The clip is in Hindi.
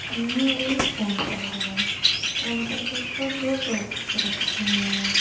यह एक कोण्टर है कोण्टर के ऊपर दो बॉक्स रखे हैं।